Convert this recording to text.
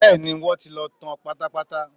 Bẹ́ẹ̀ni, wọ́n ti lọ tán pátápátá